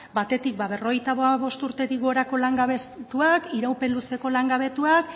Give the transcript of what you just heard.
batetik berrogeita hamabost urtetik gorako langabetuak iraupen luzeko langabetuak